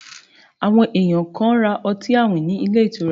Àwọn ènìyàn kan ra ọtí àwìn ní ilé ọtí